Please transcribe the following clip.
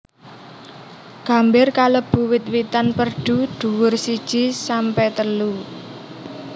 Gambir kalebu wit witan perdu duwur siji sampe telu